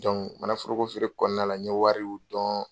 Donc mana foroko feere kɔnɔna la, n ɲe wariw dɔn.